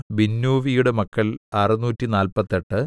ബിന്നൂവിയുടെ മക്കൾ അറുനൂറ്റിനാല്പത്തെട്ട്